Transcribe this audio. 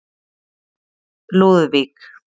Lúðvík